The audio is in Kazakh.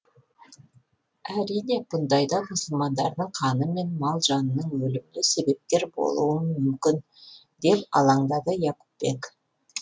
әрине бұндайда мұсылмандардың қаны мен мал жанының өліміне себепкер болуым мүмкін деп алаңдады яқупбек